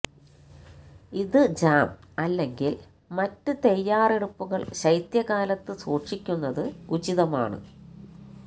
ഇത് ജാം അല്ലെങ്കിൽ മറ്റ് തയ്യാറെടുപ്പുകൾ ശൈത്യകാലത്ത് സൂക്ഷിക്കുന്നത് ഉചിതമാണ്